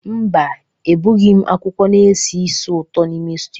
Mba, egbughị m akwụkwọ na-esi ísì ụtọ n'ime stew